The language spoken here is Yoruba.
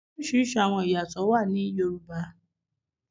Oriṣiriṣi awọn iyatọ wà ní Yoruba.